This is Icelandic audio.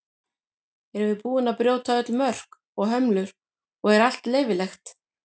Erum við búin að brjóta öll mörk og hömlur og er allt leyfilegt?